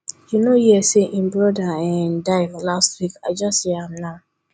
you no hear say him brother um die last week i just hear am now